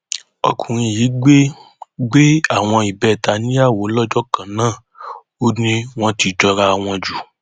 ọkùnrin yìí gbé gbé àwọn ìbẹta níyàwó lọjọ kan náà ó ní wọn ti jọra wọn jù